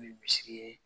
misi ye